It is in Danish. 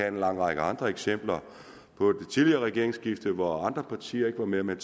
en lang række andre eksempler på det tidligere regeringsskifte hvor andre partier ikke var med men